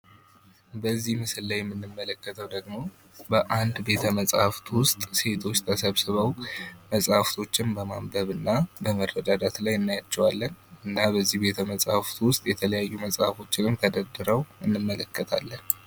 በዚህ ምስል ላይ የምንመለከተው ደግሞ በአንድ ቤተመጻሕፍት ውስጥ ሴቶች ውስጥ ተሰብስበው መጽሐፎችን በማንበብና በመረዳዳት ላይ እናያቸዋለን። እና በዚ ቤተመጻሕፍት ውስጥ የተለያዩ መጽሐፎችንም ተደርድረው እናያቸዋለን።